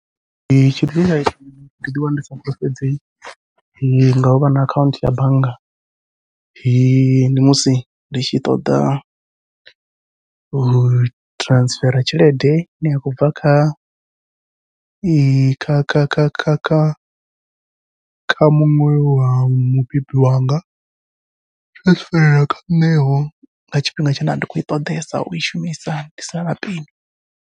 Ndi tshifhinga ndi ḓi wana ndi sa fulufhedzei ngau vha na akhaunthu ya bannga, ndi musi ndi tshi ṱoḓa u transferer tshelede ine ya khou bva kha kha kha kha kha kha kha muṅwe wa mubebi wanga, ai transfer kha nṋe vho nga tshifhinga tshine a ndi khou i ṱoḓesa ui shumisa ndi sina na peni.